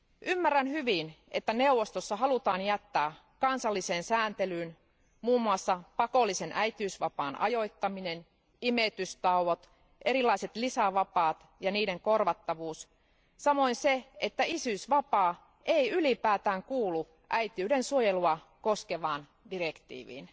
Ymmärrän hyvin, että neuvostossa halutaan jättää kansalliseen sääntelyyn muun muassa pakollisen äitiysvapaan ajoittaminen, imetystauot, erilaiset lisävapaat ja niiden korvattavuus, samoin sen, että isyysvapaa ei ylipäätään kuulu äitiyden suojelua koskevaan direktiiviin.